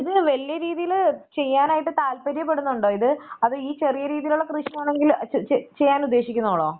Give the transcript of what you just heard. ഇത് വല്ല്യ രീതിയില് ചെയ്യാൻ ആയിട്ട് താല്പര്യപ്പെടുന്നുണ്ടോ ഇത് അതോ ഈ ചെറിയ രീതിയിലുള്ള കൃഷിയാണെങ്കിൽ ചെ ചെ ചെയ്യാൻ ഉദ്ദേശിക്കുന്നുള്ളോ?